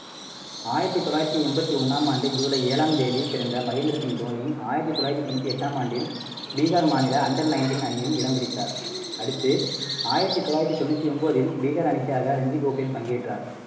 ஆயிரத்தி தொள்ளாயிரத்தி எம்பத்தி ஒண்ணாம் ஆண்டு ஜூலை ஏழாம் தேதி பிறந்த மகேந்திர சிங் தோனி ஆயிரத்தி தொள்ளாயிரத்தி தொண்ணூத்தி எட்டாம் ஆண்டில் பீகார் மாநில under nineteen அணியில் இடம் பிடித்தார். அடுத்து ஆயிரத்தி தொள்ளாயிரத்தி தொண்ணூத்தி ஒன்பதில் பீகார் அணிக்காக ரஞ்சிக் கோப்பையில் பங்கேற்றார்